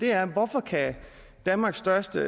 er hvorfor kan danmarks største